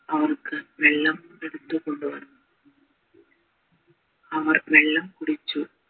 അവർക്ക് വെള്ളം എടുത്തു കൊണ്ടുവന്നു അവർ വെള്ളം കുടിച്ചു